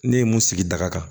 Ne ye mun sigi daga kan